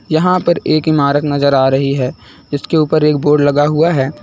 यहाँ पर एक इमारत नजर आ रही है जिसके ऊपर एक बोर्ड लगा हुआ है।